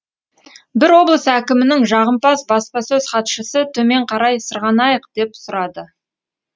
бір облыс әкімінің жағымпаз баспасөз хатшысы төмен қарай сырғанайық деп сұрады